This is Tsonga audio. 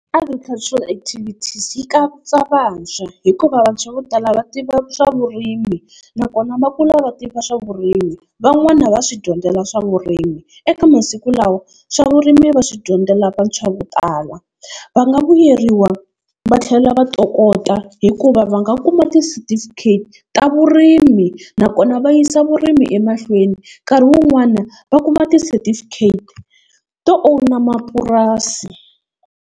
Agriculture activities yi katsa vantshwa hikuva vantshwa vo tala va tiva swa vurimi nakona va kula va tiva swa vurimi van'wana va swi dyondzela swa vurimi eka masiku lawa swa vurimi va swi dyondzela vantshwa vo tala va nga vuyeriwa va tlhela va tokota hikuva va nga kuma tisetifikheti ta vurimi nakona va yisa vurimi emahlweni nkarhi wun'wana va kuma tisetifikheti to own mapurasi.